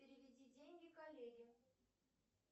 переведи деньги коллеге